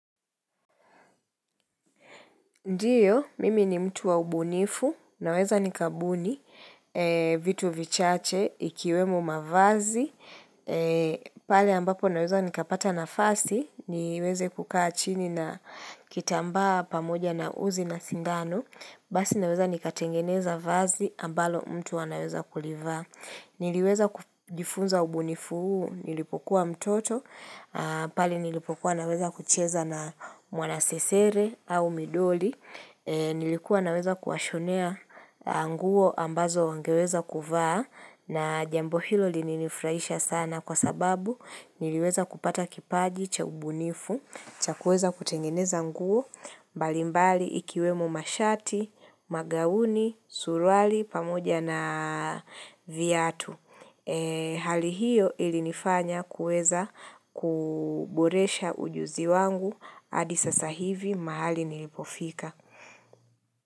Ndiyo, mimi ni mtu wa ubunifu, naweza nikabuni, vitu vichache, ikiwemo mavazi, pale ambapo naweza nikapata nafasi, niweze kukaa chini na kitambaa pamoja na uzi na sindano, basi naweza nikatengeneza vazi ambalo mtu anaweza kulivaa. Niliweza kujifunza ubunifu huu, nilipokuwa mtoto, pale nilipokuwa naweza kucheza na mwanasesere au midoli, nilikuwa naweza kuwashonea nguo ambazo wangeweza kuvaa na jambo hilo lili nifurahisha sana kwa sababu niliweza kupata kipaji cha ubunifu, cha kuweza kutengeneza nguo, mbalimbali ikiwemo mashati, magauni, suruali, pamoja na viatu Hali hiyo ilinifanya kuweza kuboresha ujuzi wangu hadi sasa hivi mahali nilipofika.